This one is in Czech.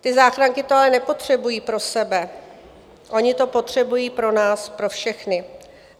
Ty záchranky to ale nepotřebují pro sebe, ony to potřebují pro nás pro všechny.